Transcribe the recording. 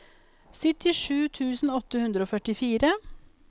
syttisju tusen åtte hundre og førtifire